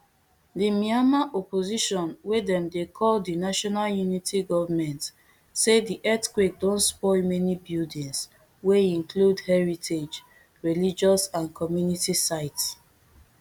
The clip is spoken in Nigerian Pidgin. di myanmar opposition wey dem dey call di national unity government say di earthquake don spoil many buildings wey include heritage religious and community sites